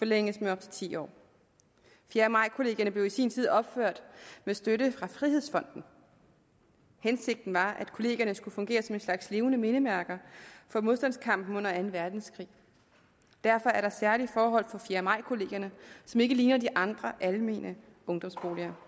forlænges med op til ti år fjerde maj kollegierne blev i sin tid opført med støtte fra frihedsfonden hensigten var at kollegierne skulle fungere som en slags levende mindesmærker for modstandskampen under anden verdenskrig derfor er der særlige forhold på fjerde maj kollegierne som ikke ligner de andre almene ungdomsboliger